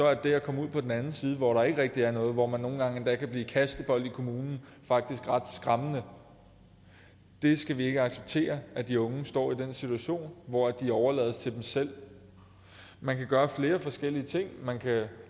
er det at komme ud på den anden side hvor der ikke rigtig er noget hvor man nogle gange endda kan blive kastebold i kommunen faktisk ret skræmmende vi skal ikke acceptere at de unge står i den situation hvor de overlades til sig selv man kan gøre flere forskellige ting man kan